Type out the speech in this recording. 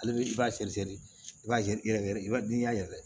Ale i b'a seri seri i b'a yɛrɛkɛ n'i y'a yɛrɛ